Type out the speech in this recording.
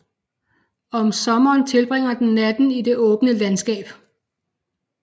Om sommeren tilbringer den natten i det åbne landskab